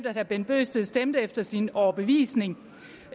herre bent bøgsted stemte efter sin overbevisning